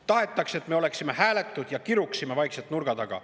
Tahetakse, et me oleksime hääletud ja kiruksime vaikselt nurga taga.